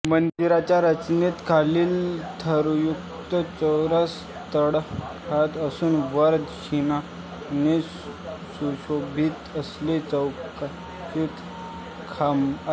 मंदिराच्या रचनेत खाली थरयुक्त चौरस तळखडा असून वर नक्षीकामाने सुशोभित असे चौरसाकृती खांब आहेत